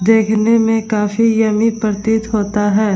देखने में काफी यम्मी प्रतीत होता है।